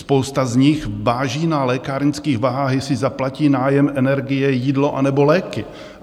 Spousta z nich váží na lékárnických vahách, jestli zaplatí nájem energie, jídlo, anebo léky.